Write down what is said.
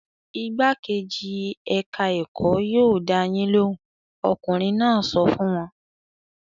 "Igbákejì ẹ̀ka-ẹ̀kọ́ yóò dá yín lóhùn!" Ọkùnrin náà sọ fún wa.